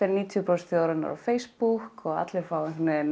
níutíu prósent þjóðarinnar á Facebook og allir fá